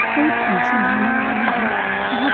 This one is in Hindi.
कोई फंक्शन होने वाले है । यहाँ --